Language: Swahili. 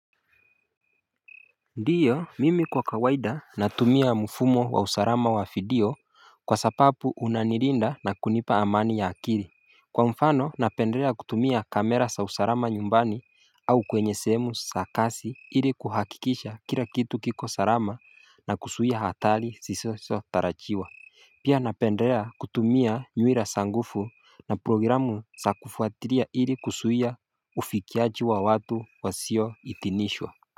Ndiyo mimi kwa kawaida natumia mfumo wa usalama wa video kwa sababu unanirinda na kunipa amani ya akili Kwa mfano napendelea kutumia kamera za usalama nyumbani au kwenye sehemu za kazi ili kuhakikisha kila kitu kiko salama na kuzuia hatari zisizotarajiwa. Pia napendelea kutumia nywira za nguvu na programu za kufuatilia ili kuzuia ufikiaji wa watu wasio idhinishwa.